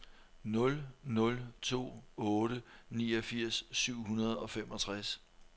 nul nul to otte niogfirs syv hundrede og femogtres